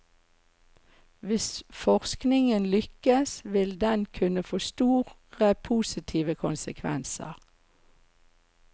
Hvis forskingen lykkes vil den kunne få store positive konsekvenser.